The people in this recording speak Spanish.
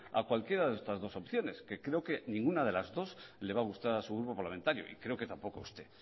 a cualquiera de estas dos opciones que creo que ninguna de las dos le va a gustar a su grupo parlamentario y creo que tampoco a usted